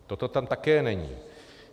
To tam také není.